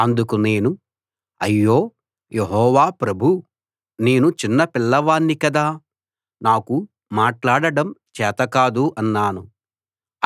అందుకు నేను అయ్యో యెహోవా ప్రభూ నేను చిన్న పిల్లవాణ్ణి కదా నాకు మాట్లాడడం చేత కాదు అన్నాను